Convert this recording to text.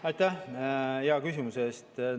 Aitäh hea küsimuse eest!